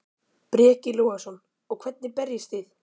Breki Logason: Og hvernig berjist þið?